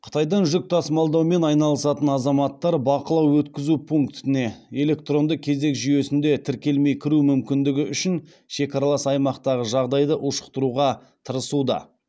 қытайдан жүк тасымалдаумен айналысатын азаматтар бақылау өткізу пунктіне электронды кезек жүйесінде тіркелмей кіру мүмкіндігі үшін шекаралас аймақтағы жағдайды ушықтыруға тырысуда